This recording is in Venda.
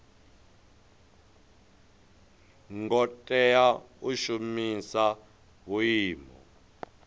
ngo tea u shumisa vhuimo